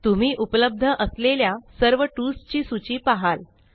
तुम्ही उपलब्ध असलेल्या सर्व टूल्स ची सूची पाहाल